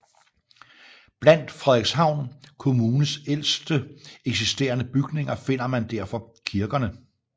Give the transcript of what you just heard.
Blandt Frederikshavn kommunes ældste eksisterende bygninger finder man derfor kirkerne